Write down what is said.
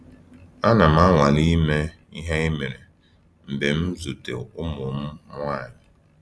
Ana m anwale ime ihe ha mere mgbe m na -ezute ụmụ m nwanyị.